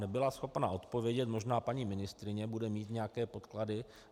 Nebyla schopna odpovědět, možná paní ministryně bude mít nějaké podklady.